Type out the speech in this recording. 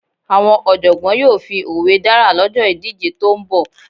Àwọn Ọ̀jọ̀gbọ́n yóò fi òwe dára lọ́jọ́ ìdíje tó ń bọ̀